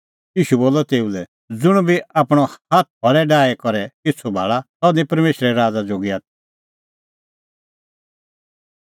ईशू बोलअ तेऊ लै ज़ुंण बी आपणअ हाथ हल़े आल़ी दी डाही करै पिछ़ू भाल़ा सह निं परमेशरे राज़ा जोगी आथी